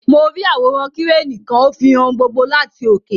Mo ri àwòrán Kireni kan; o fihàn ohùn gbogbo láti oke.